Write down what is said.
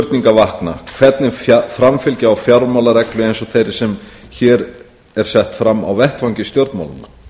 vakna hvernig framfylgja á fjármálareglu eins og þeirri sem hér er sett fram á vettvangi stjórnmálanna